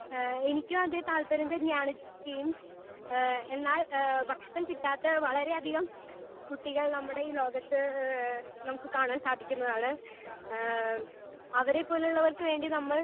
Speaker 1 ഹേ എനിക്കും അത് താല്പര്യമാണ് ജെയിംസ് ഹേ എന്നാൽ ഭക്ഷണം കിട്ടാതെ ഹേ വളരെ അതികം കുട്ടികൾ നമ്മുടെ ഈ ലോകത്ത് നമുക്ക് കാണാൻ സാധിക്കുന്നതാണ്. ഹേ അവരെ പോലെ ഉള്ളവർക്ക് വേണ്ടി നമ്മൾ